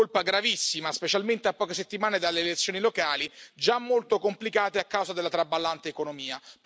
Colpa gravissima, specialmente a poche settimane dalle elezioni locali, già molto complicate a causa della traballante economia.